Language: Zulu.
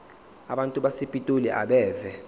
abantu basepitoli abeve